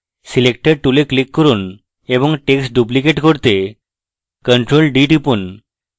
selector tool এ click করুন এবং text duplicate করতে ctrl + d টিপুন